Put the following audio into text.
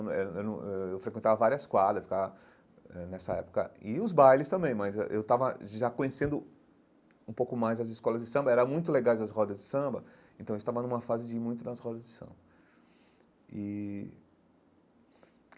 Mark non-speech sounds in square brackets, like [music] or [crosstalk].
Eu [unintelligible] eu eu frequentava várias quadras eu ficava eh nessa época e os bailes também, mas eu eu estava já conhecendo um pouco mais as escolas de samba, eram muito legais as rodas de samba, então eu estava numa fase de ir muito nas rodas de samba e.